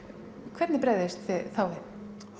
hvernig bregðist þið þá þá